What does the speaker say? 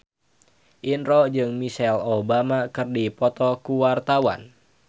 Indro jeung Michelle Obama keur dipoto ku wartawan